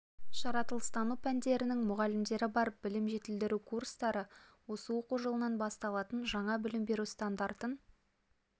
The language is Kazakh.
жаратылыстану пәндерінің мұғалімдері бар білім жетілдіру курстары осы оқу жылынан басталатын жаңа білім беру стандартын